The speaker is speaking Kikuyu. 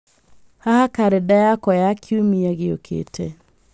haha karenda yakwa ya kiumia gĩũkĩte